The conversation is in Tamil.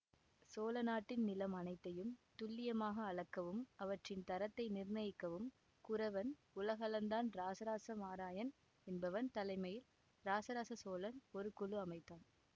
சோழநாட்டின் நிலம் அனைத்தையும் துல்லியமாக அளக்கவும் அவற்றின் தரத்தை நிர்ணயிக்கவும் குரவன் உலகளந்தான் இராசராச மாராயன் என்பவன் தலைமையில் இராசராச சோழன் ஒரு குழு அமைத்தான்